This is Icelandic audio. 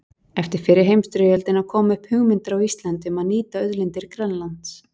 Eftir fyrri heimsstyrjöldina komu upp hugmyndir á Íslandi um að nýta auðlindir Grænlands.